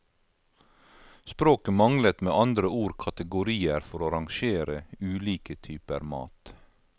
Språket manglet med andre ord kategorier for å rangere ulike typer mat.